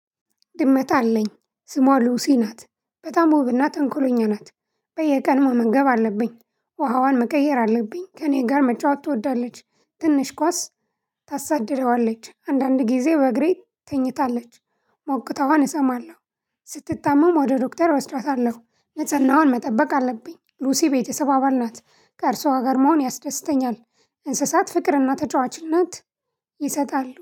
ድመት አለኝ ስሟ ሉሲ ናት በጣም ወብና ተንኮሎኛ ናት። በየቀን መመገብ አለብኝ ውሃዋን መቀየር አለብኝ ከእኔ ጋር መጫወት ትወዳለች። ትንሽ ኳስ ታሳድደዋለች አንዳንድ ጊዜ በእግሬ ትኝታለች። ሞቅተዋን እሰማለሁ። ስትታመም ወደ ዶክተር እወስደዋታለሁ። ነፅህናዋን መጠበቅ አለብኝ ሉሲ ቤተሰብ አባል ናት። ከእርሷ ጋር መሆን ያስደስተኛል። እንስሳት ፍቅርና ተጫዋች እናት ይሰጣሉ